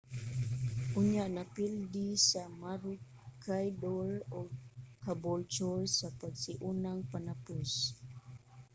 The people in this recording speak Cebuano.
unya napildi sa maroochydore ang caboolture sa pasiunang panapos